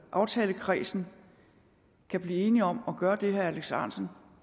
aftalekredsen kan blive enige om at gøre det herre alex ahrendtsen